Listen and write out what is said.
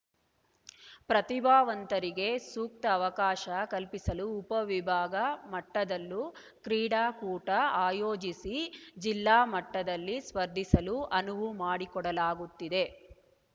ಪ್ರತಿಭಾವಂತರಿಗೆ ಸೂಕ್ತ ಅವಕಾಶ ಕಲ್ಪಿಸಲು ಉಪ ವಿಭಾಗ ಮಟ್ಟದಲ್ಲೂ ಕ್ರೀಡಾಕೂಟ ಆಯೋಜಿಸಿ ಜಿಲ್ಲಾ ಮಟ್ಟದಲ್ಲಿ ಸ್ಪರ್ಧಿಸಲು ಅನುವು ಮಾಡಿಕೊಡಲಾಗುತ್ತಿದೆ